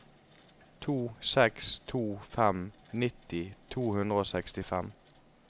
to seks to fem nitti to hundre og sekstifem